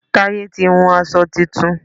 Táyé ti hun aṣọ tuntun